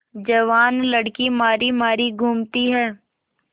जवान लड़की मारी मारी घूमती है